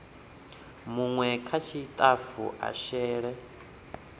munwe kha tshitafu a shele